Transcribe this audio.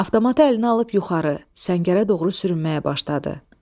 Avtomatı əlinə alıb yuxarı səngərə doğru sürünməyə başladı.